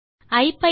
hello நண்பர்களே